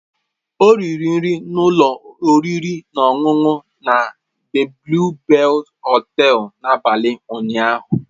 Ọ riri nri na ụlọ oriri na ọṅụṅụ na The Blue Bells hotel n'abalị ụnyaahụ.